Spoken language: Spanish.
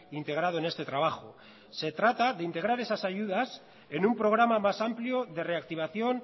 integrado en este trabajo se trata de integrar esas ayudas en un programa más amplio de reactivación